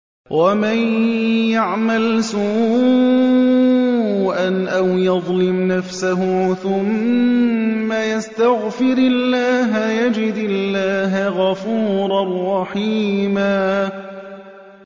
وَمَن يَعْمَلْ سُوءًا أَوْ يَظْلِمْ نَفْسَهُ ثُمَّ يَسْتَغْفِرِ اللَّهَ يَجِدِ اللَّهَ غَفُورًا رَّحِيمًا